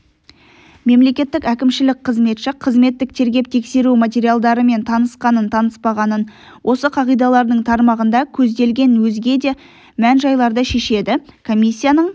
мемлекеттік әкімшілік қызметші қызметтік тергеп-тексеру материалдарымен танысқанын-таныспағанын осы қағидалардың тармағында көзделген өзге де мән-жайларды шешеді комиссияның